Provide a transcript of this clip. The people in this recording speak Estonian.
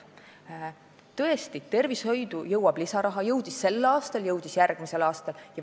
Tõesti, tervishoidu jõuab lisaraha, jõudis sel aastal ja jõuab järgmisel aastal.